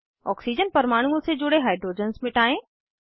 oxygen परमाणुओं से जुड़े हाइड्रोजन्स मिटायें